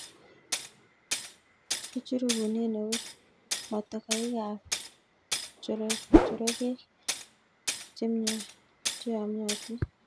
Kichuruken eut motokoikab jorokek cheyomyotin.